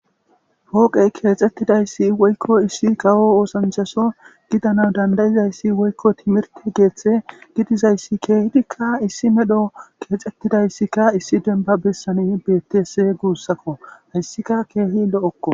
Pooqey keexettidayssi woykko issi kawo oosanchaso gidana dandayizayssi woykko timirti geeththe gidizayssi keehidikka issi medho keexettidayssikka issi demba bessani betes guussakko hayssika keehi lo'okko